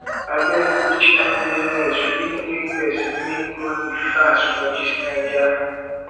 abeg which kain business fit make person make money fast for dis naija